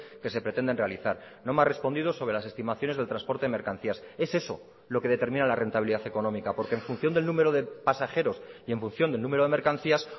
que se pretenden realizar no me ha respondido sobre las estimaciones del transporte de mercancías es eso lo que determina la rentabilidad económica porque en función del número de pasajeros y en función del número de mercancías